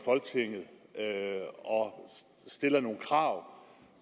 folketinget stille nogle krav